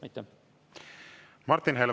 Aitäh!